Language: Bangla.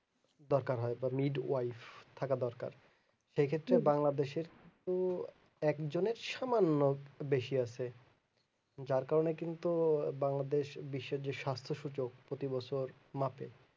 দরকার হয় বা need wife থাকা দরকার সেক্ষেত্রে বাংলাদেশ এর উহ একজনের সমান লোক বেশি আছে যার কারণে কিন্তু বাংলাদেশ বিশ্বের যে স্বাস্থ সূচক প্রতি বছর মাসে